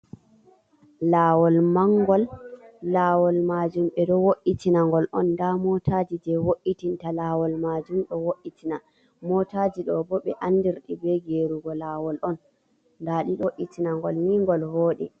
Lawol mangol lawol majum ɓe ɗo wo’itina ngol on, nda motaji jei wo’itinta lawol majum ɗo wo’itina, motaji ɗo bo ɓe andirɗi be gerugo lawol on, nda ɗi ɗo ɗo wo’itina ngol ni ngol voɗi.